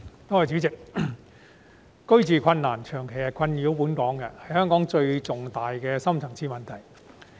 代理主席，住屋問題長期困擾香港，也是香港最重大的深層次問題。